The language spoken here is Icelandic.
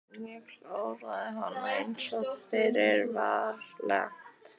Ég kláraði hana einsog fyrir var lagt.